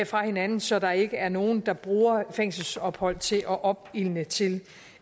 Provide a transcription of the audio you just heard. fra hinanden så der ikke er nogen der bruger fængselsophold til at opildne til